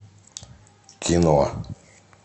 кино